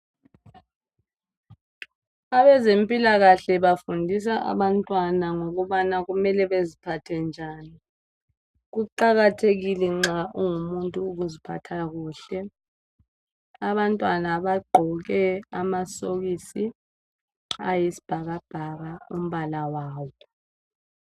Abezempilakahle bafundisa abantwana ngokubana kumele beziphathe njani. Kuqakathekile nxa ungumuntu ukuziphatha kuhle. Abantwana bagqoke amasokisi ayisibhakabhaka umbala wawo.